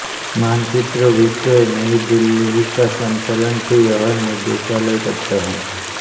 मानचित्र विक्रय नई दिल्ली का संचालन भी यही निदेशालय करता है